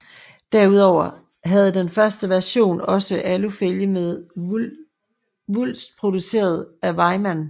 Derudover havde den første version også alufælge med vulst produceret af Weimann